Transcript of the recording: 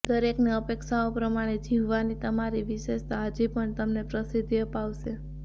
દરેકની અપેક્ષાઓ પ્રમાણે જીવવાની તમારી વિશેષતા હજી પણ તમને પ્રસિદ્ધિ અપાવશે